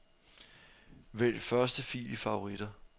Vælg første fil i favoritter.